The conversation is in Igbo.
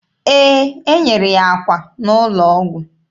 Ee, e nyere ya akwa n'ụlọ ọgwụ.